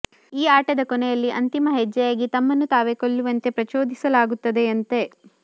ಈ ಆಟದ ಕೊನೆಯಲ್ಲಿ ಅಂತಿಮ ಹೆಜ್ಜೆಯಾಗಿ ತಮ್ಮನ್ನು ತಾವೇ ಕೊಲ್ಲುವಂತೆ ಪ್ರಚೋದಿಸಲಾಗುತ್ತದೆಯಂತೆ